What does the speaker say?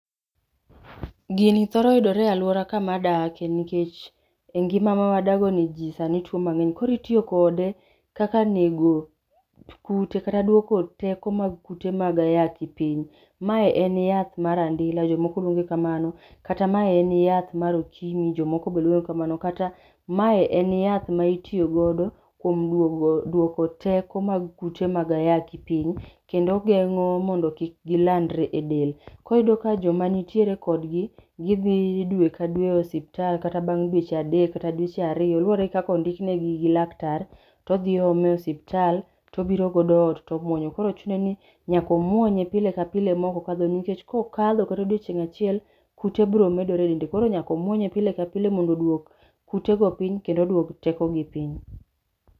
Gini thoro yudore e aloura kama adake nkech e ngima ma wadagoni jii sani two mang'eny. Koro itio kode kaka nego kute kata dwoko teko mag kute mag ayaki piny. Mae en yath mar andila, jomoko lwonge kamano, kata ma en yath mar okimi jomoko be lwonge kamano kata mae en yath ma itiogodo kwom dwogo dwoko teko mag kute mag ayaki piny, kendo geng'o mondo kik gilandre e del. Ko iyudo ka jok manitiere kodgi, gidhi dwe ka dwe osiptal kata mana bang' dweche adek kata dweche ario; luore gi kaka ondiknegi gi laktar, to dhi oome osiptal to biro godo ot to mwonyo. Koro chune ni nyaka omwonye pile ka pile mokokadho nkech kokadho kata odiochieng' achiel, kute bro medore e dende. Koro nyaka omwonye pile ka pile mondo odwok kutego piny kendo odwok tekogi piny.